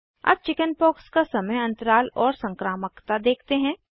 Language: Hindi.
अब चिकिन्पाक्स का समय अंतराल और संक्रामकता देखते हैं